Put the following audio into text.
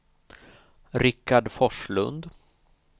Rikard Forslund